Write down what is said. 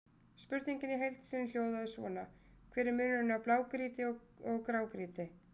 Spurningin í heild sinni hljóðaði svona: Hver er munurinn á grágrýti og blágrýti?